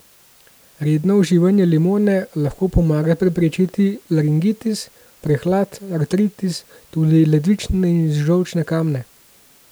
Redno uživanje limone lahko pomaga preprečiti laringitis, prehlad, artritis, tudi ledvične in žolčne kamne.